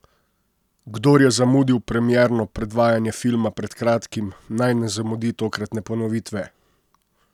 Kdor je zamudil premierno predvajanje filma pred kratkim, naj ne zamudi tokratne ponovitve.